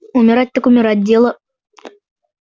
умирать так умирать дело